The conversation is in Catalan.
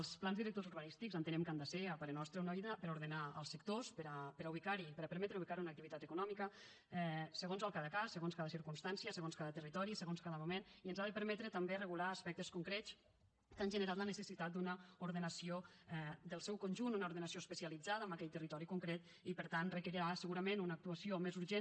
els plans directors urbanístics entenem que han de ser a parer nostre una eina per ordenar els sectors per a permetre ubicar hi una activitat econòmica segons cada cas segons cada circumstància segons cada territori segons cada moment i ens han de permetre també regular aspectes concrets que han generat la necessitat d’una ordenació del seu conjunt una ordenació especialitzada en aquell territori en concret i per tant requerirà segurament una actuació més urgent